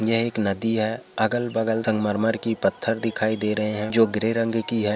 एक नदी है। अगल -बगल तक मर -मर कि पत्थर दिखाई दे रहे हैं। जो गिरे रंग कि हैं।